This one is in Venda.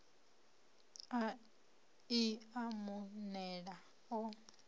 i a mu nela o